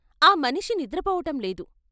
ఆ మనిషి నిద్రపోవటంలేదు.